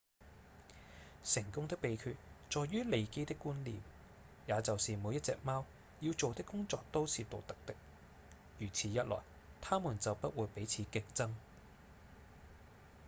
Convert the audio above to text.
成功的秘訣在於利基的觀念也就是每一隻貓要做的工作都是獨特的如此一來牠們就不會彼此競爭